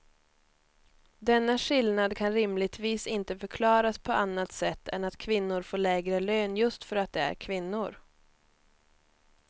Denna skillnad kan rimligtvis inte förklaras på annat sätt än att kvinnor får lägre lön just för att de är kvinnor.